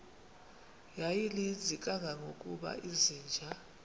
yayininzi kangangokuba izinja